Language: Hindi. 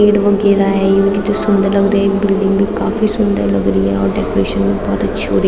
पेड़ वगेरा है ये भी कित सुंदर लग रहें है बिल्डिंग काफी सुंदर लग रही है और डेकोरेशन भी बहुत अच्छी होरी --